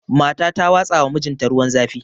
Mata ta watsawa mijinta ruwan zafi